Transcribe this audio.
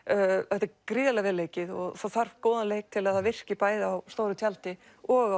þetta er gríðarlega vel leikið og það þarf góðan leik til að það virki bæði á stóru tjaldi og